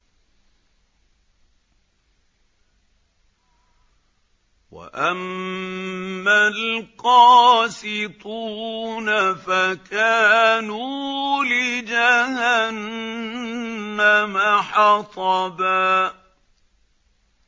وَأَمَّا الْقَاسِطُونَ فَكَانُوا لِجَهَنَّمَ حَطَبًا